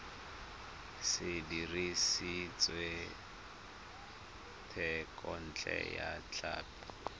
se dirisitswe thekontle ya tlhapi